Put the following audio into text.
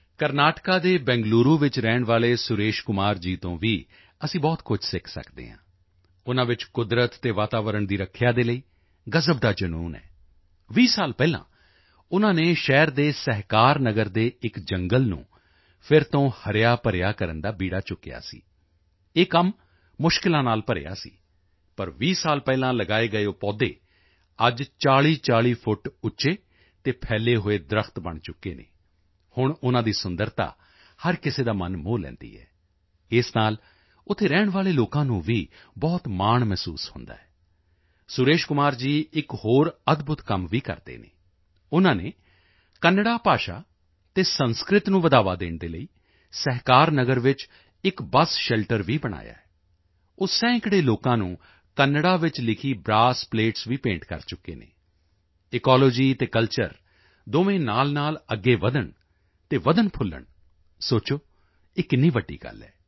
ਕਰਨਾਟਕਾ ਦੇ ਬੈਂਗਲੂਰੂ ਵਿੱਚ ਰਹਿਣ ਵਾਲੇ ਸੁਰੇਸ਼ ਕੁਮਾਰ ਜੀ ਤੋਂ ਵੀ ਅਸੀਂ ਬਹੁਤ ਕੁਝ ਸਿੱਖ ਸਕਦੇ ਹਾਂ ਉਨ੍ਹਾਂ ਵਿੱਚ ਕੁਦਰਤ ਅਤੇ ਵਾਤਾਵਰਣ ਦੀ ਰੱਖਿਆ ਦੇ ਲਈ ਗਜ਼ਬ ਦਾ ਜਨੂੰਨ ਹੈ 20 ਸਾਲ ਪਹਿਲਾਂ ਉਨ੍ਹਾਂ ਨੇ ਸ਼ਹਿਰ ਦੇ ਸਹਿਕਾਰ ਨਗਰ ਦੇ ਇੱਕ ਜੰਗਲ ਨੂੰ ਫਿਰ ਤੋਂ ਹਰਿਆਭਰਿਆ ਕਰਨ ਦਾ ਬੀੜਾ ਚੁੱਕਿਆ ਸੀ ਇਹ ਕੰਮ ਮੁਸ਼ਕਿਲਾਂ ਨਾਲ ਭਰਿਆ ਸੀ ਪਰ 20 ਸਾਲ ਪਹਿਲਾਂ ਲਗਾਏ ਗਏ ਉਹ ਪੌਦੇ ਅੱਜ 4040 ਫੁੱਟ ਉੱਚੇ ਅਤੇ ਫੈਲੇ ਹੋਏ ਦਰੱਖਤ ਬਣ ਚੁੱਕੇ ਹਨ ਹੁਣ ਉਨ੍ਹਾਂ ਦੀ ਸੁੰਦਰਤਾ ਹਰ ਕਿਸੇ ਦਾ ਮਨ ਮੋਹ ਲੈਂਦੀ ਹੈ ਇਸ ਨਾਲ ਉੱਥੇ ਰਹਿਣ ਵਾਲੇ ਲੋਕਾਂ ਨੂੰ ਵੀ ਬਹੁਤ ਮਾਣ ਮਹਿਸੂਸ ਹੁੰਦਾ ਹੈ ਸੁਰੇਸ਼ ਕੁਮਾਰ ਜੀ ਇੱਕ ਹੋਰ ਅਦਭੁਤ ਕੰਮ ਵੀ ਕਰਦੇ ਹਨ ਉਨ੍ਹਾਂ ਨੇ ਕੰਨੜ੍ਹਾ ਭਾਸ਼ਾ ਅਤੇ ਸੰਸਕ੍ਰਿਤ ਨੂੰ ਬੜ੍ਹਾਵਾ ਦੇਣ ਦੇ ਲਈ ਸਹਿਕਾਰ ਨਗਰ ਵਿੱਚ ਇੱਕ ਬੱਸ ਸ਼ੈਲਟਰ ਵੀ ਬਣਾਇਆ ਹੈ ਉਹ ਸੈਂਕੜੇ ਲੋਕਾਂ ਨੂੰ ਕੰਨੜ੍ਹਾ ਵਿੱਚ ਲਿਖੀ ਬਰਾਸ ਪਲੇਟਸ ਵੀ ਭੇਂਟ ਕਰ ਚੁੱਕੇ ਹਨ ਇਕੋਲੌਜੀ ਅਤੇ ਕਲਚਰ ਦੋਵੇਂ ਨਾਲਨਾਲ ਅੱਗੇ ਵਧਣ ਅਤੇ ਵਧਣਫੁਲਣ ਸੋਚੋ ਇਹ ਕਿੰਨੀ ਵੱਡੀ ਗੱਲ ਹੈ